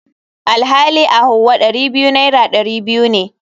Alhali a hauwa Dari biyu naira dari biyu ne.